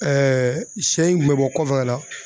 Ɛɛ sɛ in kun me bɔ kɔfɛ ka na